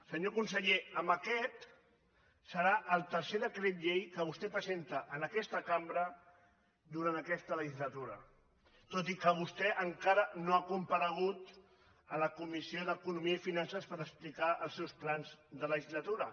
senyor conseller amb aquest serà el tercer decret llei que vostè presenta en aquesta cambra durant aquesta legislatura tot i que vostè encara no ha comparegut a la comissió d’economia i finances per explicar els seus plans de legislatura